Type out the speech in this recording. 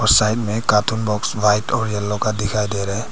Side में cartoon box white और yellow का दिखाई दे रहे हैं।